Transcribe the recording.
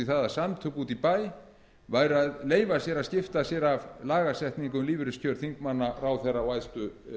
það að samtök úti í bæ væru að leyfa sér að skipta sér af lagasetningu um lífeyriskjör þingmanna ráðherra og æðstu